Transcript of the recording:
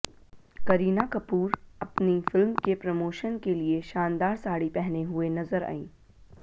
करीना कपूर अपनी फिल्म के प्रमोशन के लिए शानदार साड़ी पहने हुए नज़र आईं